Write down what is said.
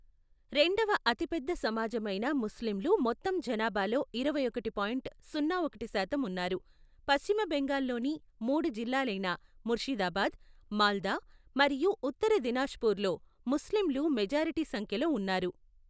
రెండవ అతిపెద్ద సమాజమైన ముస్లింలు మొత్తం జనాభాలో ఇరవై ఒకటి పాయింట్ సున్నా ఒకటి శాతం ఉన్నారు, పశ్చిమ బెంగాల్లోని మూడు జిల్లాలైన ముర్షిదాబాద్, మాల్దా మరియు ఉత్తర దినాజ్పూర్ల్లో ముస్లింలు మెజారిటీ సంఖ్యలో ఉన్నారు.